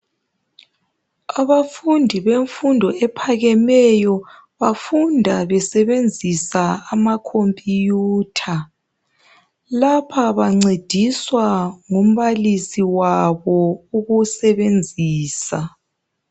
Abafundi bemfundo ephakemeyo bafunda besebenzisa ama Computer. Lapha bancediswa ngumbalisi wabo ukusebenzisa.